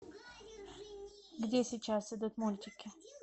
где сейчас идут мультики